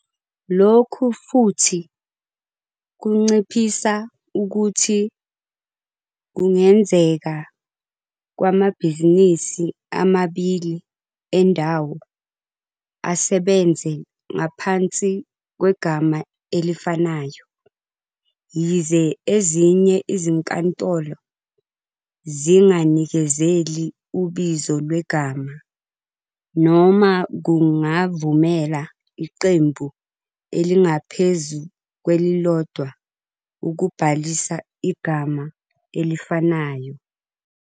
Lokhu futhi kunciphisa ukuthi kungenzeka kwamabhizinisi amabili endawo asebenza ngaphansi kwegama elifanayo, yize ezinye izinkantolo zinganikezeli ubizo lwegama, noma kungavumela iqembu elingaphezu kwelilodwa ukubhalisa igama elifanayo.